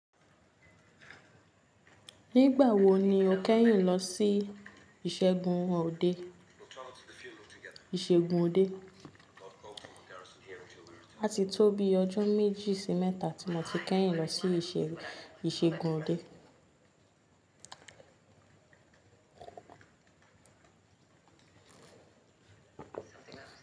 Nígbà wo ni o kẹ́yìn lọ sí ìṣègùn òde? A ti tó bi ọjọ́ méjì sí mẹ́ta tí mo ti kẹ́yìn lọ sí ìṣègùn òde.